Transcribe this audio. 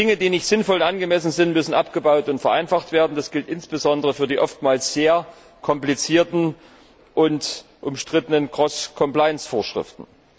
Dinge, die nicht sinnvoll und angemessen sind, müssen abgebaut und vereinfacht werden. Das gilt insbesondere für die oftmals sehr komplizierten und umstrittenen Cross Compliance Vorschriften.